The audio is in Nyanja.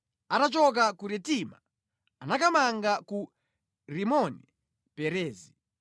Atachoka ku Ritima anakamanga ku Rimoni-Perezi.